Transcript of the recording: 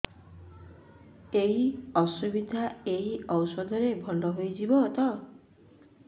ଏଇ ଅସୁବିଧା ଏଇ ଔଷଧ ରେ ଭଲ ହେଇଯିବ ତ